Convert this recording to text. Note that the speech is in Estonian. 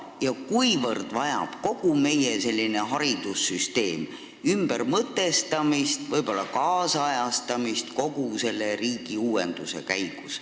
Kuivõrd vajab kogu meie haridussüsteem kogu selle riigiuuenduse käigus ümbermõtestamist ja võib-olla tänapäevastamist?